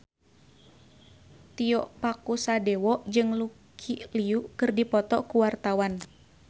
Tio Pakusadewo jeung Lucy Liu keur dipoto ku wartawan